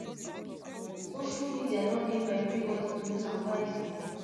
social media don dey for evribodi to use use am wisely